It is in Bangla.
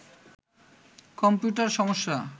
কম্পিউটার সমস্যা